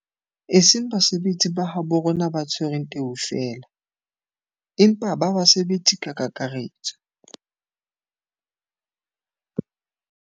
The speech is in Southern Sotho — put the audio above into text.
E seng ba basebetsi ba habo rona ba tshwereng teu feela, empa ba basebetsi ka kakaretso.